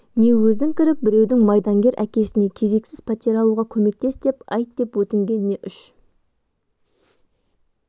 не өзің кіріп біреудің майдангер әкесіне кезексіз пәтер алуға көмектес деп айт деп өтінгеніне үш